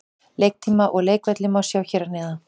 Leiktíma og leikvelli má sjá hér að neðan.